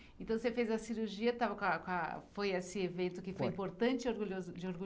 Então você fez a cirurgia, estava com a, com a, foi esse evento que foi importante e orgulhoso, de orgulho